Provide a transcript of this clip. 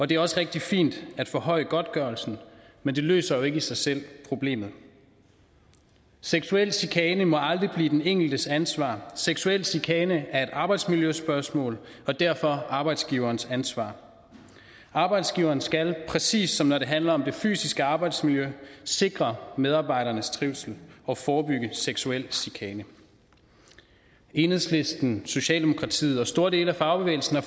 det er også rigtig fint at forhøje godtgørelsen men det løser jo ikke i sig selv problemet seksuel chikane må aldrig blive den enkeltes ansvar seksuel chikane er et arbejdsmiljøspørgsmål og derfor arbejdsgiverens ansvar arbejdsgiveren skal præcis som når det handler om det fysiske arbejdsmiljø sikre medarbejdernes trivsel og forebygge seksuel chikane enhedslisten socialdemokratiet og store dele af fagbevægelsen har